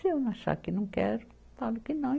Se eu achar que não quero, falo que não.